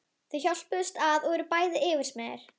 Þau hjálpast að og eru bæði yfirsmiðir.